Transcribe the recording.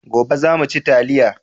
Gobe za mu ci taliya